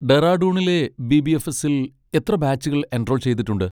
ഡെറാഡൂണിലെ ബി.ബി.എഫ്.എസ്സിൽ എത്ര ബാച്ചുകൾ എൻറോൾ ചെയ്തിട്ടുണ്ട്?